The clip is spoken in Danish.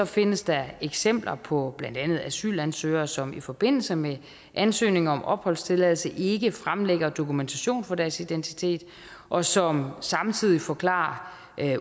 findes der eksempler på blandt andet asylansøgere som i forbindelse med ansøgning om opholdstilladelse ikke fremlægger dokumentation for deres identitet og som samtidig forklarer